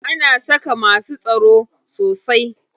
Ana saka masu tsaro sosai.